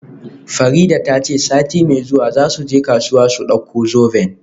Farida ta ce sati mai zuwa za su je kasuwa su dauko zoben.